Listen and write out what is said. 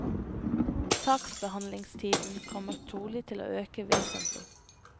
Saksbehandlingstiden kommer trolig til å øke vesentlig.